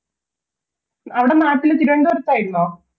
അവിടെ നാട്ടിൽ തിരുവനന്തപുരത്തായിരുന്നോ